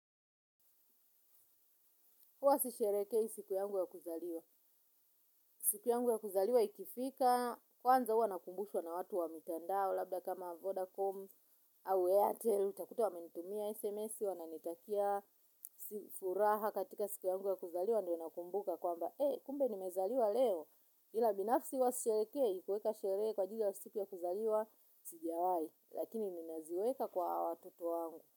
Uwa sisherehekei siku yangu ya kuzaliwa. Siku yangu ya kuzaliwa ikifika, kwanza huwa nakumbushwa na watu wa mitandao, labda kama Vodacom, au airtel, utakuta wamenitumia, SMS, wananitakia, furaha katika siku yangu ya kuzaliwa, ndio nakumbuka kwamba, eh, kumbe nimezaliwa leo. Ila binafsi huwa sisherehekei, kuweka sherehe, kuweka kwa ajili ya siku ya kuzaliwa, sijawai, lakini ninaziweka kwa watoto wangu.